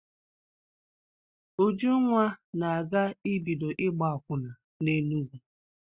Ujunwa na-aga ibido ịgba akwụna n'Enugwu.